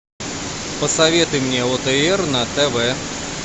посоветуй мне отр на тв